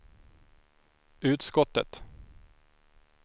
utskottet